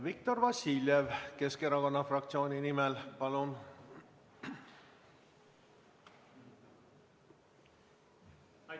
Viktor Vassiljev, Keskerakonna fraktsiooni nimel, palun!